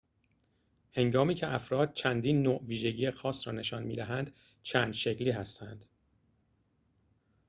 هنگامی که افراد چندین نوع ویژگی خاص را نشان می دهند چند شکلی هستند